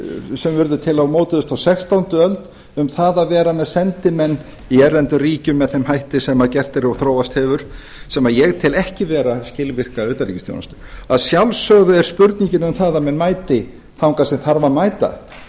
sem varð til og mótaðist á sextándu öld um það að vera með sendimenn í erlendum ríkjum með þeim hætti sem gert er og þróast hefur sem ég tel ekki vera skilvirka utanríkisþjónustu að sjálfsögðu er spurningin um það að menn mæti þangað sem þarf að mæta